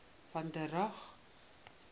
van der rohe